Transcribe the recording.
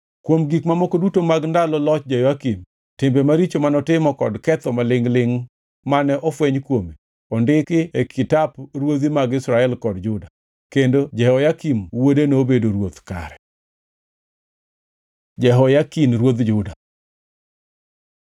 Kuom gik mamoko duto mag ndalo loch Jehoyakim, timbe maricho manotimo kod ketho malingʼ-lingʼ mane ofweny kuome, ondiki e kitap ruodhi mag Israel kod Juda. Kendo Jehoyakin wuode nobedo ruoth kare. Jehoyakin ruodh Juda